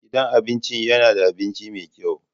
Gidan abinci yana da abinci mai kyau.